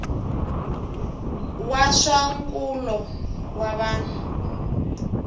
wa swa nkulo wa vanhu